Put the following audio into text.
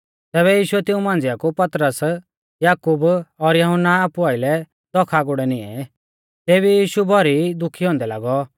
तैबै यीशुऐ तिऊं मांझ़िआ कु पतरस याकूब और यहुन्ना आपु आइलै दौख आगुड़ै निऐं तेबी यीशु भौरी दुखी थौ